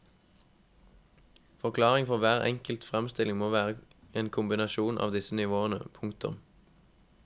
Forklaringen for hver enkelt fremstilling må være en kombinasjon av disse nivåene. punktum